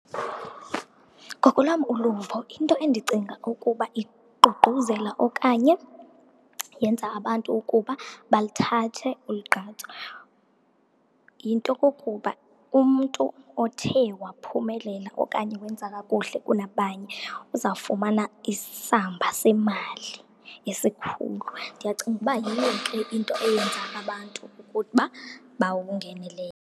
Ngokolwam uluvo into endicinga ukuba iququzela okanye yenza abantu ukuba baluthathe olu gqatso, yinto kokuba umntu othe waphumelela okanye wenza kakuhle kunabanye uzawufumana isamba semali esikhulu. Ndiyacinga ukuba yiyo ke into eyenza abantu ukuba bawungenele.